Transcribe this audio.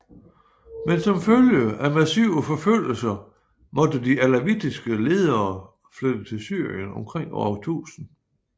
Men som følge af massive forfølgelser måtte de alawitiske ledere flytte til Syrien omkring år 1000